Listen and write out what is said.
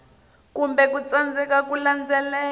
kumbe ku tsandzeka ku landzelela